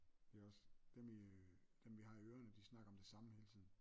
Det er også dem i dem vi har i ørene de snakker om det samme hele tiden